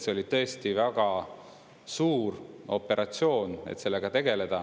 See oli tõesti väga suur operatsioon.